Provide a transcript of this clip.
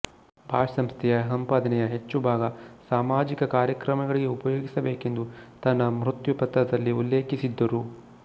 Bosch ಸಂಸ್ಥೆಯ ಸಂಪಾದನೆಯ ಹೆಚ್ಚು ಭಾಗ ಸಾಮಾಜಿಕ ಕಾರ್ಯಕ್ರಮಗಳಿಗೆ ಉಪಯೋಗಿಸಬೇಕೆಂದು ತನ್ನ ಮೃತ್ಯು ಪತ್ರದಲ್ಲಿ ಉಲ್ಲೇಖಿಸಿದ್ದರು